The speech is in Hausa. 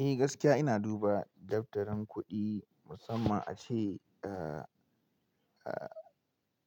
Eh gaskiya ina duba daftarin kuɗi musamman ace, eh eh